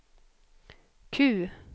Q